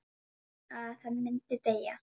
Að hann myndi deyja.